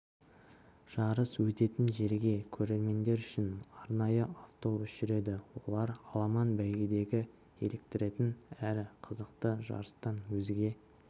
жарыс өтетін жерге көрермендер үшін арнайы автобус жүреді олар аламан бәйгедегі еліктіретін әрі қызықты жарыстан өзге